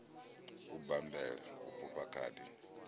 u bammbela u fhufha khadi